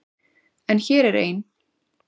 En hér er ein.